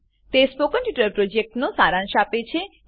તે spoken tutorial પ્રોજેક્ટનો સારાંશ આપે છે